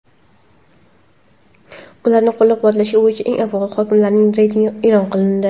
ularni qo‘llab-quvvatlash bo‘yicha eng faol hokimliklar reytingi e’lon qilindi.